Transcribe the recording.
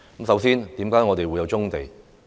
首先，為何我們會有棕地？